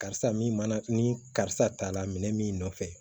Karisa min mana ni karisa ta la minɛn min nɔfɛ